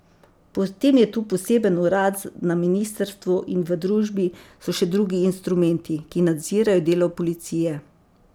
Potem je tu poseben urad na ministrstvu in v družbi so še drugi instrumenti, ki nadzirajo delo policije.